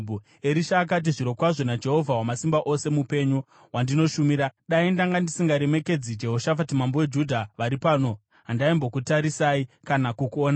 Erisha akati, “Zvirokwazvo naJehovha Wamasimba Ose mupenyu, wandinoshumira, dai ndanga ndisingaremekedzi Jehoshafati mambo weJudha vari pano, handaimbokutarisai kana kukuonai.